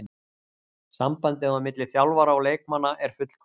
Sambandið á milli þjálfara og leikmanna er fullkomið.